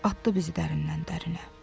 Atdı bizi dərindən dərinə.